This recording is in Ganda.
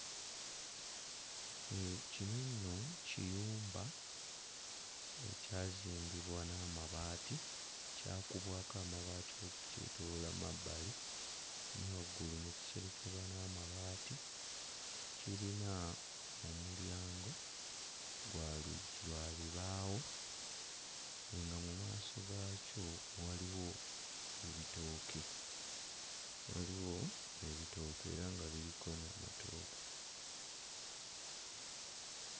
Kino nno kiyumba ekyazimbibwa n'amabaati, kyakubwako amabaati okukyetooloola mu mabbali ne waggulu ne kiserekebwa n'amabaati. Kirina omulyango gwa luggi lwa bibaawo, nga mu maaso gaakyo waliwo ebitooke, waliwo ebitooke era nga biriko n'amatooke.